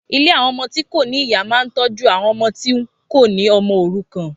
Ilé àwọn ọmọ tí kò ní ìyá máa ń tọ́jú àwọn ọmọ tí kò ní ọmọ òrukàn.